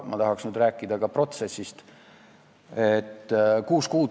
Ma tahaks nüüd rääkida ka protsessist.